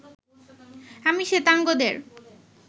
আমি শ্বেতাঙ্গদের